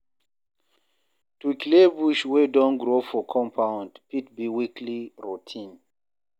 To clear bush wey don grow for compound fit be weekly routine